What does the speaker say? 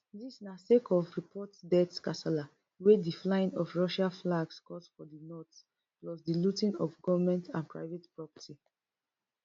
dis na sake of reports death kasala wey di flying of russia flags cause for di north plus di looting of goment and private property